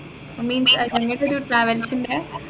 means ഏർ നിങ്ങക്കൊരു travels ണ്ടെ